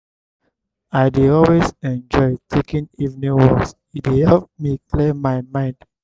i dey always enjoy taking evening walks; e dey help me clear my mind.